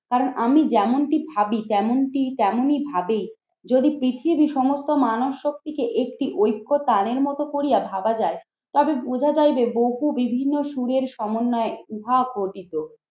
কারণ আমি যেমনটি ভাবি যেমনটি তেমনই ভাবি যদি পৃথিবীর সমস্ত মানব শক্তিকে একটি ঐক্য প্রাণের মতো করিয়া ভাবা যায় তবে বোঝা যায় যে বহু বিভিন্ন সুরের সমন্বয়ে ইহা গঠিত।